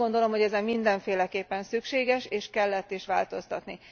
Azt gondolom, hogy ezen mindenféleképpen szükséges és kellett is változtatni.